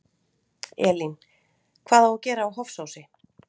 Elín: Hvað á að gera á Hofsósi?